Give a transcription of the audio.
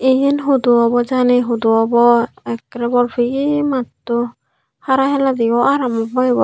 iyen hudu obo jani hudu obo ekkrey bol peye matto hara hiladeyo aaram obo ibot.